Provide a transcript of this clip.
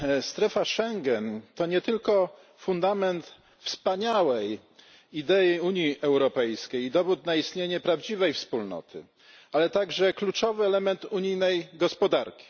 Strefa Schengen to nie tylko fundament wspaniałej idei Unii Europejskiej, dowód na istnienie prawdziwej wspólnoty, ale także kluczowy element unijnej gospodarki.